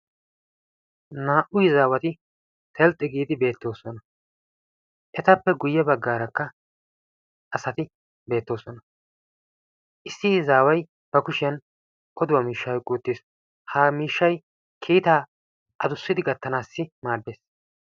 Naa'u izaawati telxxi giidi beettoosona etappe guyye bagaarakka asati beettoosona issi aaway ba kushiyan odo miishshaa oyqqi uttis, ha miishshay kiitaa adussidi gattanaassi maaddes.